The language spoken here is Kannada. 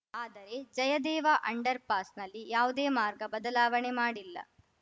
ಆದರೆ ಜಯದೇವ ಅಂಡರ್‌ ಪಾಸ್‌ನಲ್ಲಿ ಯಾವುದೇ ಮಾರ್ಗ ಬದಲಾವಣೆ ಮಾಡಿಲ್ಲ